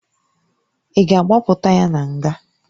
Ị ga a gbapụta ya na nga?